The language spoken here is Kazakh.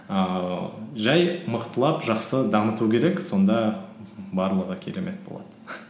ііі жай мықтылап жақсы дамыту керек сонда барлығы керемет болады